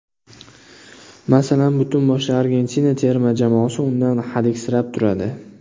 Masalan, butun boshli Argentina terma jamoasi undan hadiksirab turadi.